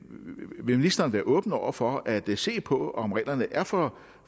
vil ministeren være åben over for at se på om reglerne er for